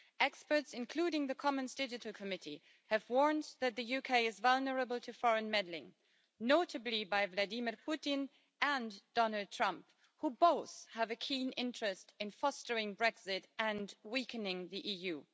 Experts, including the Commons Digital Committee, have warned that the UK is vulnerable to foreign meddling notably by Vladimir Putin and Donald Trump, who both have a keen interest in fostering Brexit and weakening the EU.